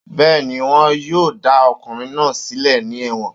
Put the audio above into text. Bẹ́ẹ̀ni, wọ́n yóò dá ọkùnrin náà sílẹ̀ ní ẹ̀wọ̀n